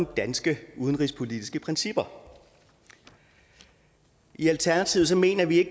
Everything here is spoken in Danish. danske udenrigspolitiske principper i alternativet mener vi